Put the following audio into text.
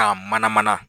K'a mana mana